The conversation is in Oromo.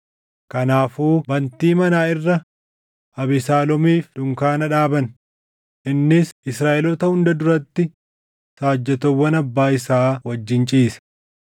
Kanaafuu bantii manaa irra Abesaaloomiif dunkaana dhaaban; innis Israaʼeloota hunda duratti saajjatoowwan abbaa isaa wajjin ciise.